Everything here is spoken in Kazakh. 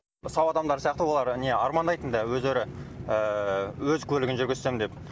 сау адамдар сияқты олар не армандайтын да өздері өз көлігін жүргізсем деп